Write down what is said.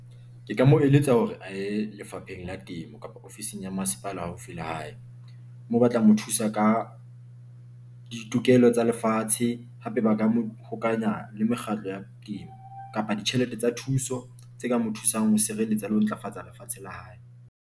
Ke ka mo eletsa hore a ye Lefapheng la Temo kapa ofising ya Masepala haufi le hae. Moo ba tla mo thusa ka ditokelo tsa lefatshe hape ba ka mo hokanya le mekgatlo ya temo kapa ditjhelete tsa thuso tse ka mo thusang ho sireletsa le ho ntlafatsa lefatshe la hae.